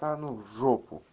та ну в жопу